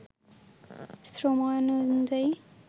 শ্রম আইন অনুযায়ী